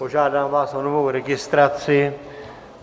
Požádám vás o novou registraci.